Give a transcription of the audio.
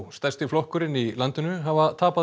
stærsti flokkurinn í landinu hafa tapað